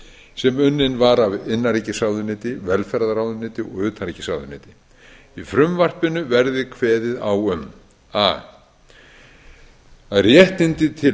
sem unnin var af innanríkisráðuneyti velferðarráðuneyti og utanríkisráðuneyti í frumvarpinu verði kveðið á um a að réttindi